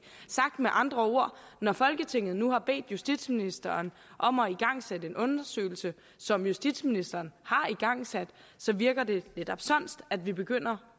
sagt med andre ord når folketinget nu har bedt justitsministeren om at igangsætte en undersøgelse som justitsministeren har igangsat så virker det lidt omsonst at vi begynder